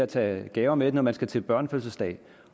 tage gaver med når man skal til børnefødselsdag